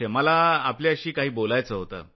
मला आपल्याशी काही बोलायचं होतं